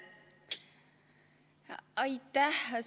Aitäh!